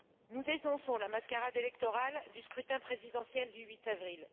Nous dénonçons la mascarade électorale du scrutin présidentiel du 8 avril.